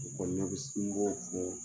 o kɔni na bi sin k'o fɔ